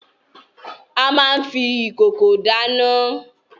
A máa n fi ìkòkò dáná.